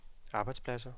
arbejdspladser